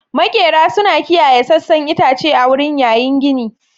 Maƙera suna kiyaye sassan itace a wurin yayin gini.